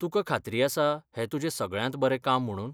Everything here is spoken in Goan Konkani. तुका खात्री आसा हें तुजें सगळ्यांत बरें काम म्हुणून?